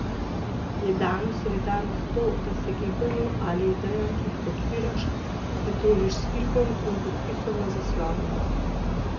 Je danes solidarnost to, da se gibanju ali idejam, ki jih podpiraš, pridružiš s klikom in podpisom na zaslonu?